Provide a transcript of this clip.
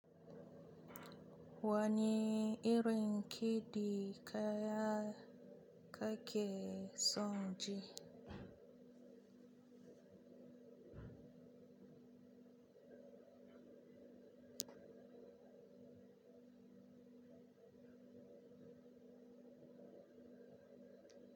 Wani irin kiɗi ka kake son ji?